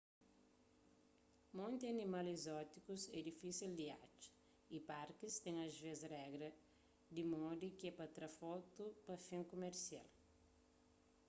monti animal ezótikus é difisel di atxa y parkis ten asvês regras di modi ke pa tra fotu pa fin kumersial